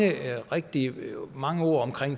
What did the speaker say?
rigtige mange ord om